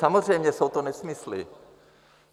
Samozřejmě jsou to nesmysly.